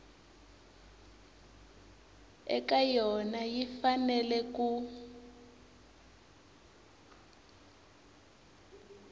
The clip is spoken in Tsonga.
eka yona yi fanele ku